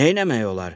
Neyləmək olar?